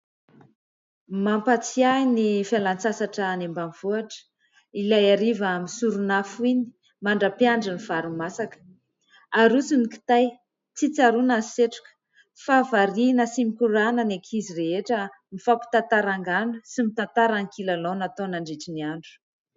Mampatsiahy ny fialan-tsasatra any ambanivohitra ilay hariva misorona afo iny, mandra-piandry ny vary masaka. Aroso ny kitay, tsy tsaroana ny setroka, fa variana sy mikorana ny ankizy rehetra, mifampitantara angano sy mitantara ny kilalao natao nandritra ny andro.